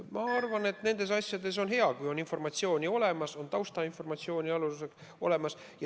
Ma arvan, et on hea, kui nende asjade kohta on olemas taustainformatsiooni.